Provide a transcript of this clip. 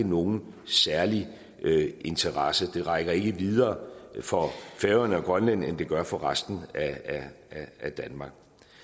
nogen særlig interesse det rækker ikke videre for færøerne og grønland end det gør for resten af danmark